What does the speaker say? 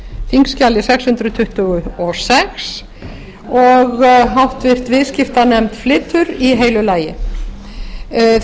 þingskjali sex hundruð tuttugu og sex og háttvirtur viðskiptanefnd flytur í heilu lagi þetta